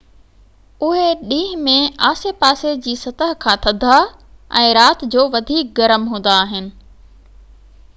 اهي ڏينهن ۾ آسي پاسي جي سطح کان ٿڌا ۽ رات جو وڌيڪ گرم هوندا آهن